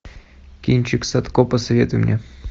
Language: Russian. кинчик садко посоветуй мне